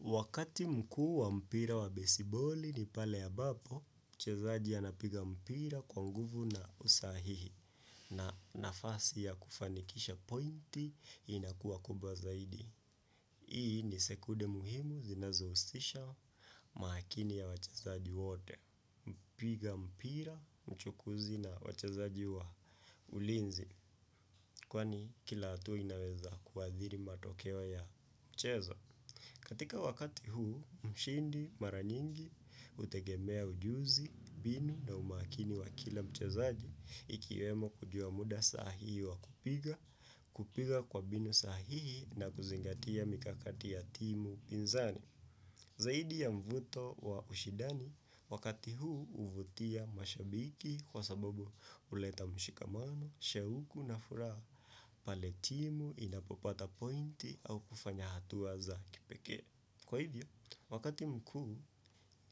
Wakati mkuu wa mpira wa besiboli ni pale ambapo, mchezaji anapiga mpira kwa nguvu na usahihi na nafasi ya kufanikisha pointi inakua kubwa zaidi. Hii ni sekunde muhimu zinazohusisha maakini ya wachezaji wote, mpiga mpira, mchukuzi na wachezaji wa ulinzi, kwani kila hatua inaweza kuadhiri matokeo ya mchezo. Katika wakati huu, mshindi maranyingi hutegemea ujuzi, mbinu na umakini wa kila mchazaji ikiwemo kujua muda sahihi wa kupiga, kupiga kwa mbinu sahihi na kuzingatia mikakati ya timu pinzani. Zaidi ya mvuto wa ushidani, wakati huu uvutia mashabiki kwa sababu huleta mshikamano, shauku na furaha, pale timu inapopata pointi au kufanya hatua za kipekee. Kwa hivyo, wakati mkuu